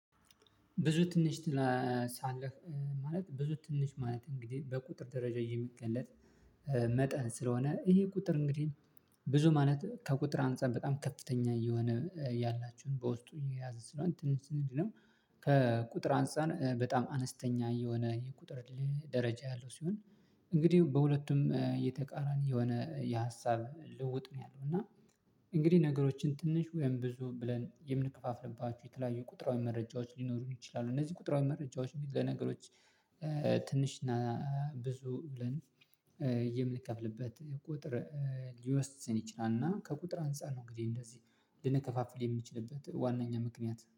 ብዙ ትንሽ። ሳለህ ማለት ብዙ ትንሽ ማለት እንግዲህ በቁጥር ደረጃ የሚገለጥ መጠን ስለሆነ ይሄ ቁጥር እንግዲህ ብዙ ማለት ከቁጥር አንፃር በጣም ከፍተኛ እየሆነ ያላችሁን በውስጡ የያዘ ስለሆነ ትንሽ እንዲህ ነው። ከቁጥር አንፃር በጣም አነስተኛ የሆነ የቁጥር ደረጃ ያለው ሲሆን። እንግዲህ በሁለቱም የተቃራኒ የሆነ የሀሳብ ልውጥ ነው ያለው እና እንግዲህ ነገሮችን ትንሽ ወይም ብዙ ብለን የምንከፋፍልባችሁ የተለያዩ ቁጥራዊ መረጃዎች ሊኖሩኝ ይችላሉ። እነዚህ ቁጥራዊ መረጃዎች ለነገሮች ትንሽ እና ብዙ ብለን የምንከፍልበት ቁጥር ሊወስን ይችላልና። ከቁጥር አንፃር ነው እንግዲህ እንደዚህ ልንከፋፍል የሚችልበት ዋናኛ ምክንያት